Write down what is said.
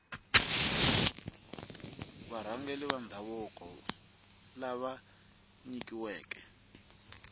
varhangeri va ndhavuko lava nyikiweke